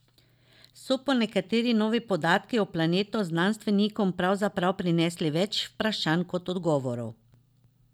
So pa nekateri novi podatki o planetu znanstvenikom pravzaprav prinesli več vprašanj kot odgovorov.